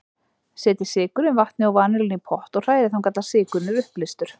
Setjið sykurinn, vatnið og vanilluna í pott og hrærið þangað til sykurinn er uppleystur.